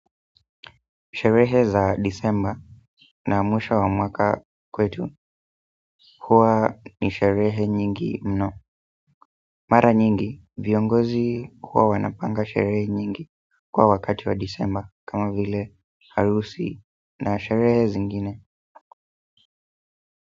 Sherehe za Disemba na mwisho wa mwaka kwetu huwa ni sherehe nyingi mno. Mara nyingi, viongozi huwa wanapanga sherehe nyingi kwa wakati wa Disemba kama vile harusi na sherehe zingine.